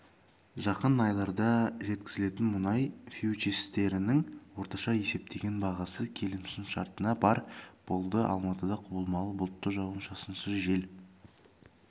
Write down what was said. жақын айларда жеткізілетін мұнай фьючерстерінің орташа есептеген бағасы келісімшартына барр болды алматыда құбылмалы бұлтты жауын-шашынсыз жел